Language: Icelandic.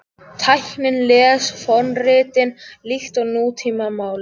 Tæknin les fornritin líkt og nútímamál